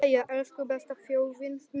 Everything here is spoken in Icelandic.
Jæja, elsku besta þjóðin mín!